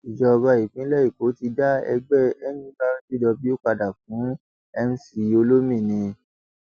ìjọba ìpínlẹ èkó ti dá ẹgbẹ nurtw padà fún mc olomini